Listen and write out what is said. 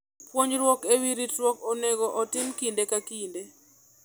Puonjruok e wi ritruok onego otim kinde ka kinde.